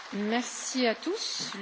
Le débat est clos.